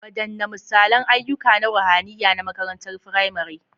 Wadanne misalan ayyuka na ruhaniya na makarantar firamare?